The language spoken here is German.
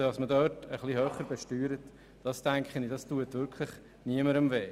Besteuert man dort etwas höher, tut das meines Erachtens wirklich niemandem weh.